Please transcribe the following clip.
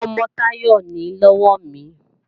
Ọmọ-ọmọ Táyọ̀ nìí lọ́wọ́ mi